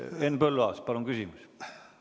Henn Põlluaas, palun küsimus!